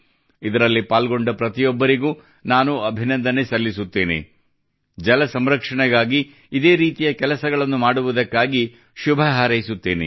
ಇದರಲ್ಲಿ ಪಾಲ್ಗೊಂಡ ಪ್ರತಿಯೊಬ್ಬರಿಗೂ ನಾನು ಅಭಿನಂದನೆ ಸಲ್ಲಿಸುತ್ತೇನೆ ಜಲಸಂರಕ್ಷಣೆಗಾಗಿ ಇದೇ ರೀತಿಯ ಕೆಲಸಗಳನ್ನು ಮಾಡುವುದಕ್ಕಾಗಿ ಶುಭ ಹಾರೈಸುತ್ತೇನೆ